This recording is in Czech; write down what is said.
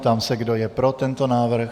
Ptám se, kdo je pro tento návrh.